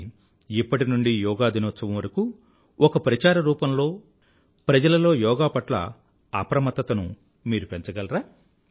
కానీ ఇప్పటి నుండీ యోగా దినోత్సవం వరకూ ఒక ప్రచార రూపంలో ప్రజలలో యోగా పట్ల అప్రమత్తతను మీరు పెంచగలరా